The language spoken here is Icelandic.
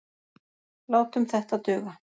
Látum þetta duga.